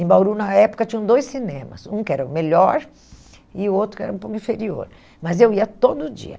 Em Bauru, na época, tinham dois cinemas, um que era o melhor e o outro que era um pouco inferior, mas eu ia todo dia.